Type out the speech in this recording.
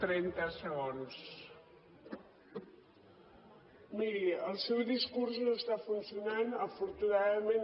miri el seu discurs no està funcionant afortunadament